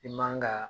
I man ka